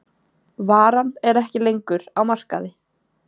Varan er ekki lengur á markaði